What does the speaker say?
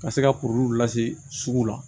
Ka se ka kuru lase sugu la